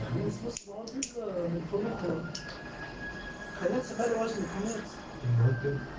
подорожник конец будем